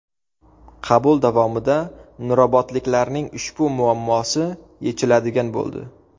Qabul davomida nurobodliklarning ushbu muammosi yechiladigan bo‘ldi.